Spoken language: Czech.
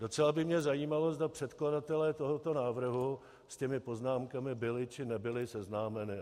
Docela by mě zajímalo, zda předkladatelé tohoto návrhu s těmi poznámkami byli, či nebyli seznámeni.